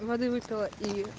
воды выпила и